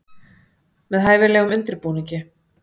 Með hæfilegum undirbúningi.